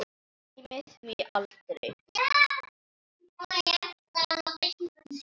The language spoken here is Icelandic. Gleymir því aldrei.